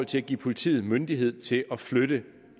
til at give politiet myndighed til at flytte